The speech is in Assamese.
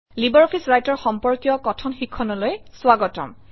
লাইব্ৰঅফিছ ৰাইটাৰ সম্পৰ্কীয় কথন শিক্ষণলৈ স্বাগতম